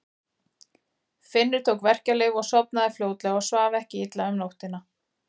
Finnur tók verkjalyf og sofnaði fljótlega og svaf ekki illa um nóttina.